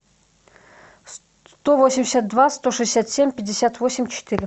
сто восемьдесят два сто шестьдесят семь пятьдесят восемь четыре